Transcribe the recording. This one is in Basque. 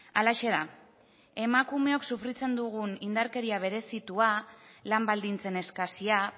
halaxe da emakumeok sufritzen dugun indarkeria berezitua lan baldintzen eskasia